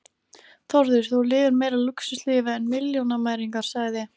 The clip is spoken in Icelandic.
Þórður: Þú lifir meira lúxuslífi en milljónamæringar sagði